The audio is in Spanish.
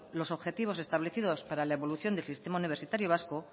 los objetivos establecidos para la evolución del sistema universitario vasco